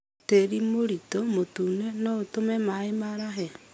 Tĩri mũritũ mũtune noũtũme maĩ marahe